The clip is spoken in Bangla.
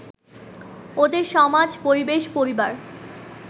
ওদের সমাজ, পরিবেশ, পরিবার